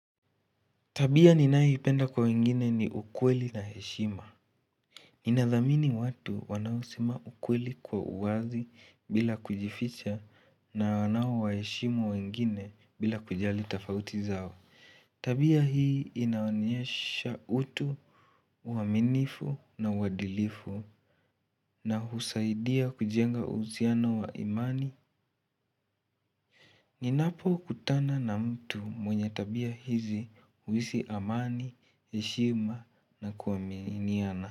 Tabia ninayo ipenda kwa wengine ni ukweli na heshima. Ninathamini watu wanaosema ukweli kwa uwazi bila kujificha na wanao wa heshimu wengine bila kujali tofauti zao. Tabia hii inaonyesha utu, uaminifu na uadilifu na husaidia kujenga uhusiano wa imani. Ninapo kutana na mtu mwenye tabia hizi huhisi amani, heshima na kuaminiana.